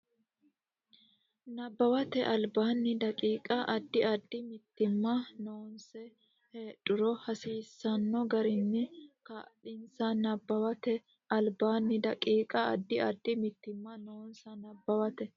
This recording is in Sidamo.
Nabbawate Albaanni daqiiqa Addi addi mitiimma noonsa heedhuro hasiisanno garinni kaa linsa Nabbawate Albaanni daqiiqa Addi addi mitiimma noonsa Nabbawate.